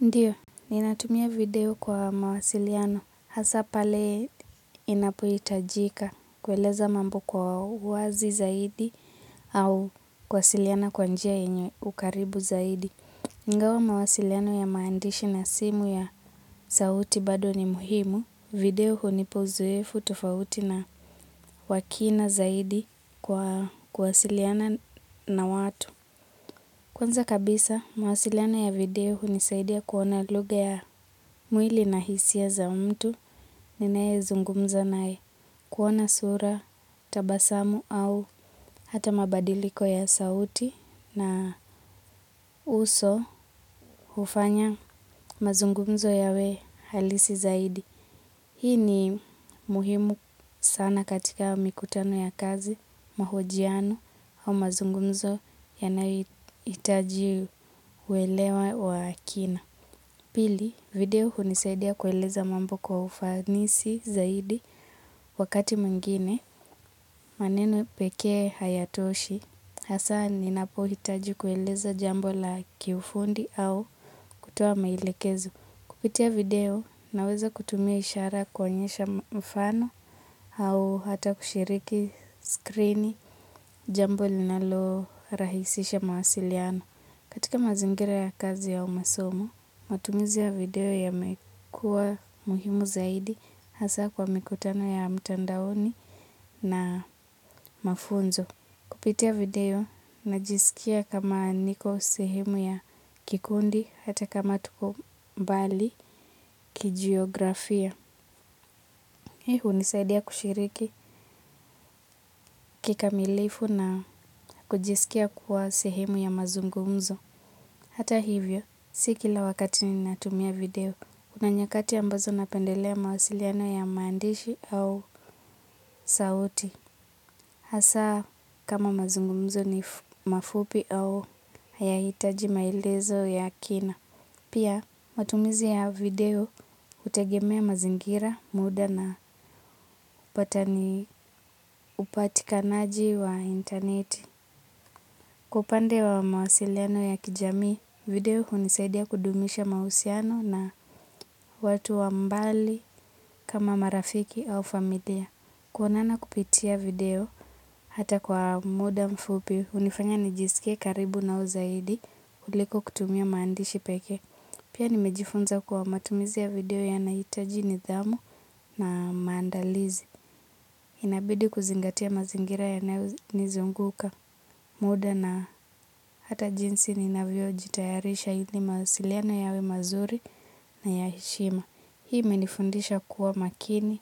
Ndiyo, ni natumia video kwa mawasiliano. Hasa pale inapoitajika kweleza mambo kwa wazi zaidi au kwasiliana kwa njia enye ukaribu zaidi. Ingao mawasiliano ya maandishi na simu ya sauti bado ni muhimu, video huu nipo uzoefu tofauti na wakina zaidi kwa kwasiliana na watu. Kwanza kabisa, mawasiliano ya video hunisaidia kuona luga ya mwili na hisia za umtu, ninae zungumza nae kuona sura, tabasamu au hata mabadiliko ya sauti na uso ufanya mazungumzo yawe halisi zaidi. Hii ni muhimu sana katika mikutano ya kazi, mahojiano au mazungumzo yanayitaji uwelewa wa akina. Pili, video hunisaidia kueleza mambo kwa ufanisi zaidi wakati muingine. Maneno peke hayatoshi, hasa ninapo hitaji kueleza jambo la kiufundi au kutowa maelekezo. Kupitia video naweza kutumia ishara kuonyesha mfano au hata kushiriki skrini jambo linalo rahisisha mawasiliano. Katika mazingira ya kazi au masomo, matumizi ya video yamekua muhimu zaidi hasa kwa mikutano ya mtandaoni na mafunzo. Kupitia video, najisikia kama niko sehemu ya kikundi, hata kama tuko mbali, kijiografia. Hii unisaidia kushiriki kikamilifu na kujiskia kuwa sehemu ya mazungumzo. Hata hivyo, sikila wakati ni natumia video. Kuna nyakati ambazo napendelea mawasiliano ya maandishi au sauti. Pia matumizi ya video utegemea mazingira muda na upatani upatikanaji wa interneti. Kwa upande wa mawasiliano ya kijami, video unisaidia kudumisha mausiano na watu wa mbali kama marafiki au familia. Kwonana kupitia video hata kwa muda mfupi, unifanya nijisike karibu nao zaidi kuliko kutumia maandishi peke. Pia nimejifunza kwa matumizia video ya naitajini dhamu na maandalizi. Inabidi kuzingatia mazingira ya nizunguka, muda na hata jinsi ni navio jitayarisha ili mawasiliano yawe mazuri na yaishima. Hii imenifundisha kuwa makini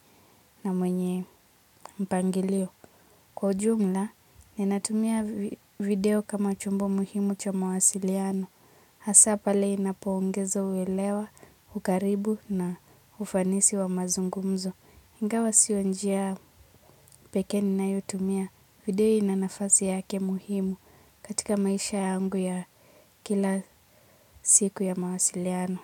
na mwenye mpangilio. Kwa ujumla ninatumia video kama chombo muhimu cha mawasiliano. Hasapale inapo ongezo uwelewa, ukaribu na ufanisi wa mazungumzo. Ingawa sio njia peke ninayotumia video inanafazi yake muhimu katika maisha yangu ya kila siku ya mawasiliano.